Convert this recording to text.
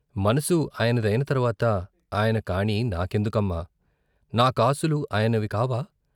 మనసు ఆయన దైన తర్వాత ఆయన కాణీ నాకెందుకమ్మా, నా కాసులు ఆయనివి కావా?